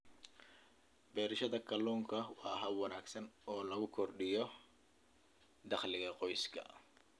Beerashada kalluunka waa hab wanaagsan oo lagu kordhiyo dakhliga qoyska.